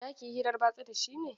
Za ki yi hirar batsa da shi ne?